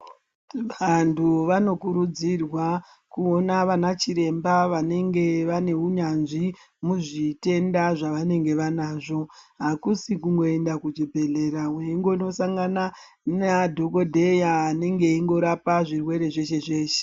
Vantu vanokurudzirwa kuona vanachiremba vanenge vane unyanzvi muzvitenda zvavanenge vanazvo hakusi kungoenda kuchibhedhlera weingosangana neadhokodheya anenge eindorapa zvirwere zveshe zveshe.